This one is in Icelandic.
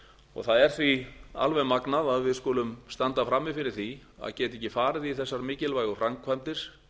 og það er því alveg magnað að við skulum standa frammi fyrir því að geta ekki farið í þessar mikilvægu framkvæmdir